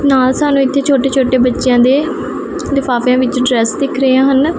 ਨਾਲ ਸਾਨੂੰ ਇਥੇ ਛੋਟੇ ਛੋਟੇ ਬੱਚਿਆਂ ਦੇ ਲਿਫਾਫਿਆਂ ਵਿੱਚ ਡਰੈਸ ਦਿਖ ਰਹੇ ਹਨ।